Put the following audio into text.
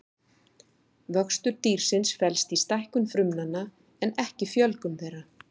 Vöxtur dýrsins felst í stækkun frumnanna en ekki fjölgun þeirra.